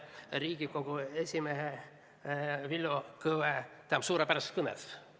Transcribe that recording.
Riigikohtu esimehe Villu Kõve suurepärases kõnes.